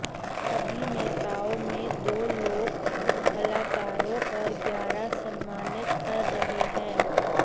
अभिनेताओं में दो लोक कलाकारों और ग्यारह सम्मानित कर रहे हैं